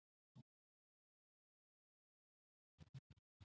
Hafþór: Var þetta á leikskólanum sem að þú teiknaðir rennibrautina?